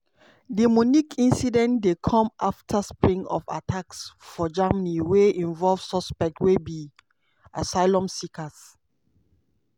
di munich incident dey come afta string of attacks for germany wey involve suspects wey be asylum seekers.